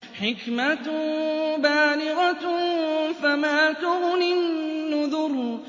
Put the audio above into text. حِكْمَةٌ بَالِغَةٌ ۖ فَمَا تُغْنِ النُّذُرُ